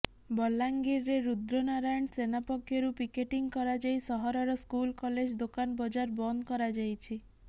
ବଲାଙ୍ଗିରରେ ରୁଦ୍ର ନାରାୟଣ ସେନା ପକ୍ଷରୁ ପିକେଟିଂ କରାଯାଇ ସହରର ସ୍କୁଲ କଲେଜ ଦୋକାନ ବଜାର ବନ୍ଦ କରାଯାଇଛି